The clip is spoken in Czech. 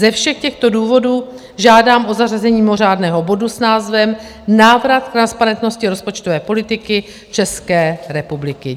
Ze všech těchto důvodů žádám o zařazení mimořádného bodu s názvem Návrat transparentnosti rozpočtové politiky České republiky.